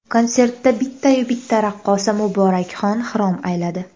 Konsertda bittayu bitta raqqosa Muborakxon xirom ayladi.